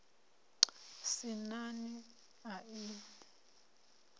sin a nani a u